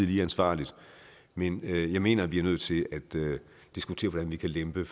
lige ansvarligt men jeg mener at vi er nødt til at diskutere hvordan vi kan lempe